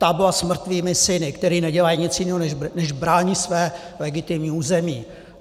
Tabla s mrtvými syny, kteří nedělají nic jiného, než brání své legitimní území.